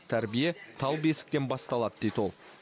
тәрбие тал бесіктен басталады дейді ол